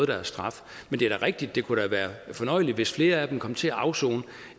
deres straf men det er da rigtigt at det kunne være fornøjeligt hvis flere af dem kom til at afsone